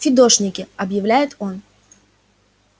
фидошники объявляет он